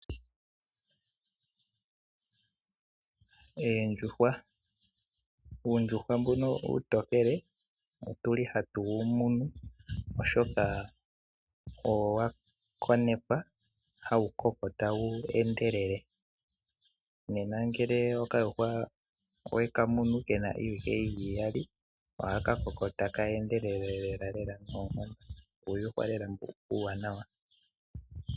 Oondjuhwa oontokele odhi li hadhi munwa oshoka odha konekwa hadhi koko tadhi endelele. Ngele owa munu okayuhwa kena iiwike iyali, oha ka koko taka endele lela, oondjuhwa ndhi oombwanawa lela.